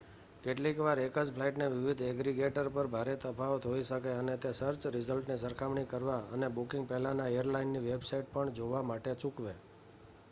કેટલીક વાર એક જ ફ્લાઇટની વિવિધ એગ્રીગેટર પર ભારે તફાવત હોઈ શકે અને તે સર્ચ રિઝલ્ટની સરખામણી કરવા અને બુકિંગ પહેલાં એરલાઇનની વેબસાઇટ પણ જોવા માટે ચૂકવે